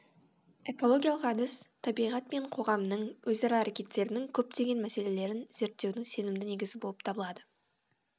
экологиялық әдіс табиғат пен қоғамның өзара әрекеттерінің көптеген мәселелерін зерттеудің сенімді негізі болып табылады